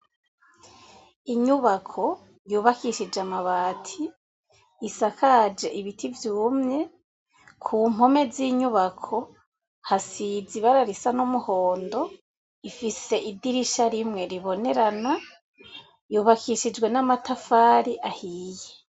Inyubako yubakishije amabati isakaje ibiti vyumye ku mpome z'inyubako hasize ibara risa n'umuhondo ifise idirisha rimwe ribonerana yubakishijwe n'amatafari ahiye.